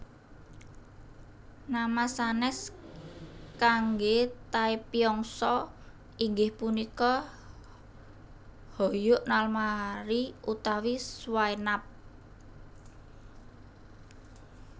Nama sanes kangge taepyeongso inggih punika hojoek nalmari utawi swaenap